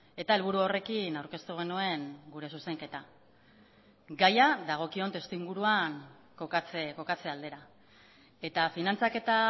eta helburu horrekin aurkeztu genuen gure zuzenketa gaia dagokion testuinguruan kokatze aldera eta finantzaketa